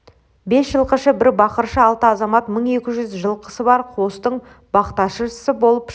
бес жылқышы бір бақыршы алты азамат мың екі жүз жылқысы бар қостың бақташысы боп шыққан